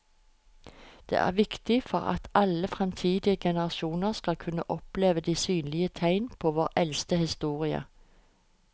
Det er viktig for at alle fremtidige generasjoner skal kunne oppleve de synlige tegn på vår eldste historie.